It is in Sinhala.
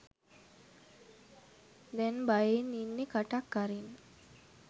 දැන් බයෙන් ඉන්නේ කටක් අරින්න